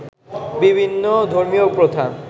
বিভিন্ন ধর্মীয় প্রথা